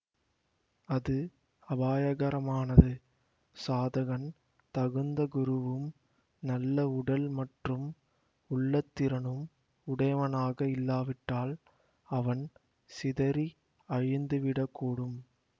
அது அபாயகரமானது சாதகன் தகுந்த குருவும் நல்ல உடல் மற்றும் உள்ளத் திறனும் உடையவனாக இல்லாவிட்டால் அவன் சிதறி அழிந்துவிடக்கூடும்